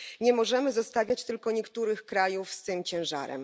Nie możemy zostawiać tylko niektórych krajów z tym ciężarem.